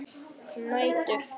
Þín dóttir, Hildur Brynja.